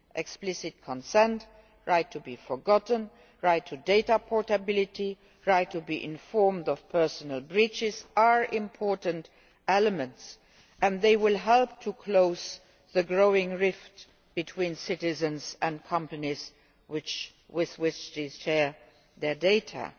Explicit consent, the right to be forgotten, the right to data portability and the right to be informed of personal data breaches are important elements and they will help to close the growing rift between citizens and the companies with which they share their data.